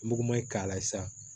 Mugu ma ɲi k'a la sa